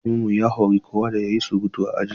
Malamin mu ya hori kowa da ya yi surutu a aji.